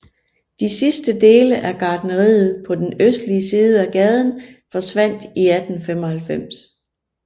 De sidste dele af gartneriet på den østlige side af gaden forsvandt i 1895